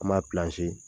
An b'a